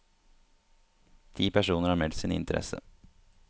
Ti personer har meldt sin interesse.